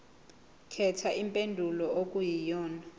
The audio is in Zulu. khetha impendulo okuyiyona